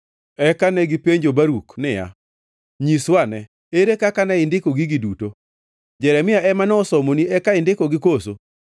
Eka negipenjo Baruk niya, “Nyiswane, ere kaka ne indiko gigi duto? Jeremia ema nosomoni eka indikogi koso?”